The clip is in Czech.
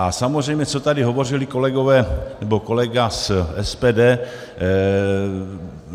A samozřejmě co tady hovořili kolegové, nebo kolega z SPD.